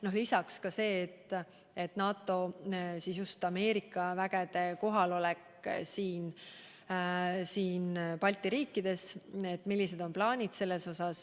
Juttu oli ka NATO, just Ameerika Ühendriikide üksuste kohalolekust Balti riikides, sellest, millised on plaanid.